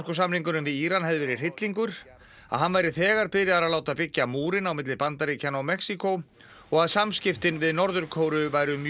verið hryllingur að hann væri þegar byrjaður að láta byggja múrinn á milli Bandaríkjanna og Mexíkó og að samskiptin við Norður Kóreu væru mjög góð